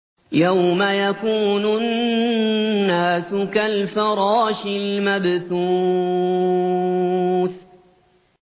يَوْمَ يَكُونُ النَّاسُ كَالْفَرَاشِ الْمَبْثُوثِ